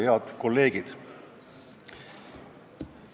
Head kolleegid!